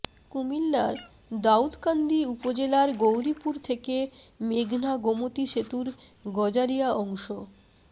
কুমিল্লার দাউদকান্দি উপজেলার গৌরীপুর থেকে মেঘনা গোমতী সেতুর গজারিয়া অংশ